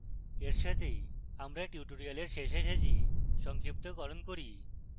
এর সাথেই আমরা tutorial শেষে এসেছি সংক্ষিপ্তকরণ করি